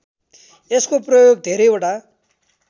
यसको प्रयोग धेरैवटा